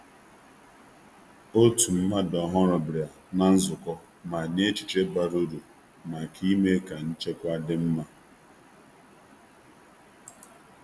Ofu onye ọhụrụ sonyere na nzukọ ahụ ma nyere aka site n’inyekwu echiche bara uru gbasara ndozi nchekwa.